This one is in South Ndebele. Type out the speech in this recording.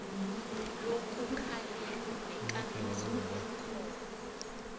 lokukhalima nekambiso yakhona